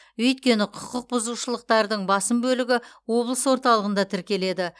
өйткені құқықбұзушылықтардың басым бөлігі облыс орталығында тіркеледі